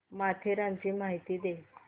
माथेरानची माहिती दे